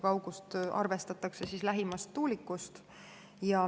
Kaugust arvestatakse lähimast tuulikust.